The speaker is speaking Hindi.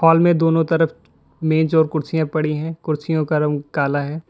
हाल में दोनों तरफ मेंज और कुर्सियां पड़ी हैं कुर्सियों का रंग काला है।